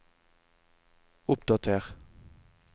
oppdater